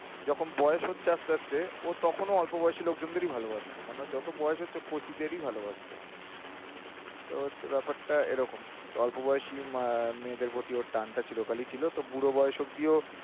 যখন বয়স হচ্ছে আস্তে আস্তে ও তখনও অল্প বয়সী লোকজনদেরই ভালোবাসতো মানে ওর যত বয়স হচ্ছে ও কচিদেরই ভালোবাসতো